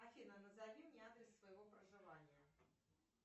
афина назови мне адрес своего проживания